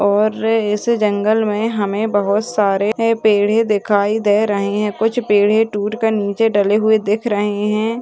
और इस जंगल मे हमे बहुत सारे पेढ़े दिखाई दे रहे है। कुछ पेढे टूट कर नीचे डले हुए दिख रहे है।